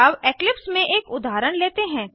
अब इक्लिप्स में एक उदाहरण लेते हैं